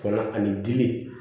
Kɔnɔ ani dimi